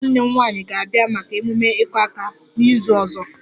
Nwunye nwanne m nwanyị ga-abịa maka ememe 'iku aka' n'izu ọzọ